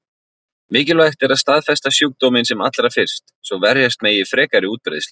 Mikilvægt er að staðfesta sjúkdóminn sem allra fyrst, svo verjast megi frekari útbreiðslu.